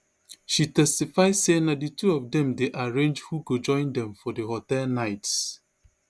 she testify say na di two of dem dey arrange who go join dem for di hotel nights